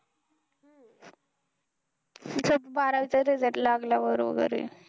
त्याचा बारावीचा result लागल्यावर वगैरे.